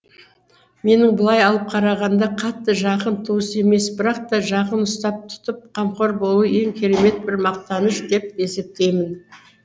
менің былай алып қарағанда қатты жақын туыс емес бірақ та жақын ұстап тұтып қамқор болу ең керемет бір мақтаныш деп есептеймін